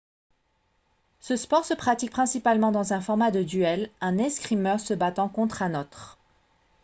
ce sport se pratique principalement dans un format de duel un escrimeur se battant contre un autre